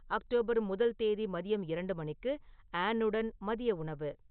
October முதல் தேதி மதியம் இரண்டு மணிக்கு ஆன் உடன் மதிய உணவு